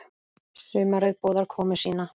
Sumarið boðar komu sína.